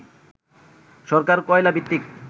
সরকার কয়লাভিত্তিক